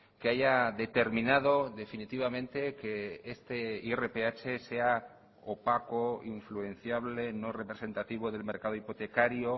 que haya determinado definitivamente que este irph sea opaco influenciable no representativo del mercado hipotecario